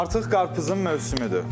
Artıq qarpızın mövsümüdür.